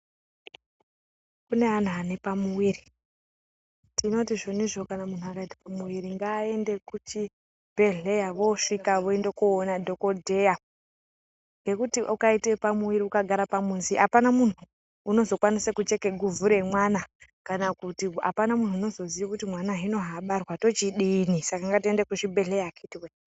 Kune ana anepamwiri tinoti zvonizvo muntu akaita pamwiri ngaaende kuchibhedhleya vosvika voenda koona dhokodheya ngekuti ukaita pamwiri ukagara pamuzi apana muntu unozokwanisa kucheka guvhu remwana kana kuti apana muntu unozoziya kuti mwana zvaabarwa tozodini saka ngatiende kuzvibhedhleya akhiti woye.